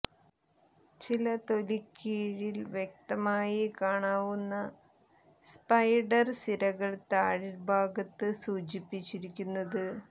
ചില തൊലി കീഴിൽ വ്യക്തമായി കാണാവുന്ന സ്പൈഡർ സിരകൾ താഴ്ഭാഗത്ത് സൂചിപ്പിച്ചിരിക്കുന്നത്